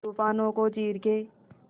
तूफानों को चीर के